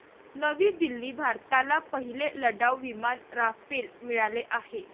नवी दिल्ली भारताला पहिले लढाऊ विमान राफेल मिळाले आहे.